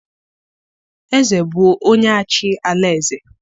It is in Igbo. eze bụ onye-achị ala-eze.